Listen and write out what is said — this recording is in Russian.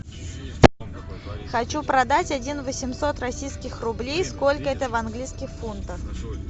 хочу продать один восемьсот российских рублей сколько это в английских фунтах